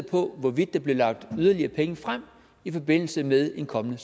på hvorvidt der bliver lagt yderligere penge frem i forbindelse med en kommende